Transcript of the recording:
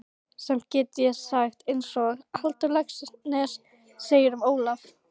Samt get ég sagt einsog Halldór Laxness segir um Ólaf